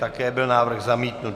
Také byl návrh zamítnut.